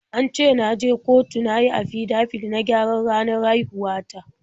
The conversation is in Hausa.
An ce na je kotu na yi afidabit na gyaran ranar haihuwa ta.